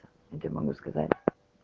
я тебе могу сказать